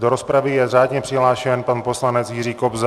Do rozpravy je řádně přihlášen pan poslanec Jiří Kobza.